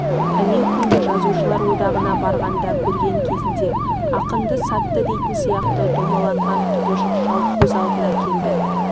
әнеукүні жазушылар одағына барғанда көрген кезінде ақынды сатты дейтін сияқты домаланған құбыжық шал көз алдына келді